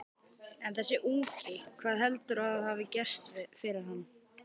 En þessi ungi, hvað heldurðu að hafi gerst fyrir hann?